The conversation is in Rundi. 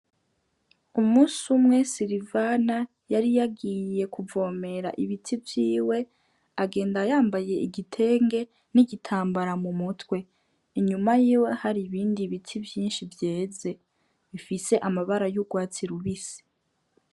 Umusi umwe silivana yari yagiye kuvomera ibiti vyiwe agenda yambaye igitenge n'igitambara mu mutwe, inyuma yiwe hari ibindi biti vyinshi vyeze bifise amabara y'urwatsi rubisi.